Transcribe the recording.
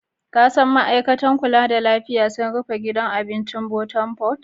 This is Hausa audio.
Ka san ma'aikatar kulla da lafiya sun rufe gidan abincin Bottom pot?